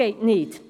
Das geht nicht!